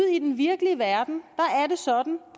i den virkelige verden